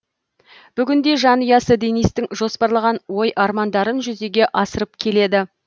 бүгінде жанұясы денистің жоспарлаған ой армандарын жүзеге асырып келеді